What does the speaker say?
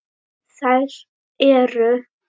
Þær eru